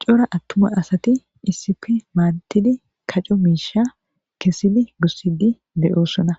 cora attuma asati isipi maanatidi kaco miisha kessidi gussidi de7oossona